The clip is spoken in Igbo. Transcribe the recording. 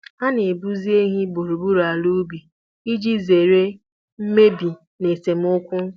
Ha Ha na-eduzi ehi gburugburu ala ubi iji zere mmebi na esemokwu.